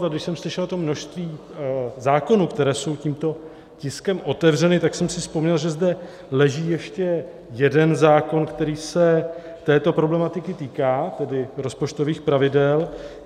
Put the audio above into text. A když jsem slyšel to množství zákonů, které jsou tímto tiskem otevřeny, tak jsem si vzpomněl, že zde leží ještě jeden zákon, který se této problematiky týká, tedy rozpočtových pravidel.